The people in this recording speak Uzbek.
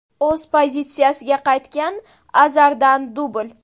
O‘z pozitsiyasiga qaytgan Azardan dubl.